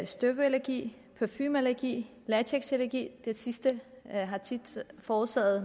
støvallergi parfumeallergi latexallergi det sidste forårsagede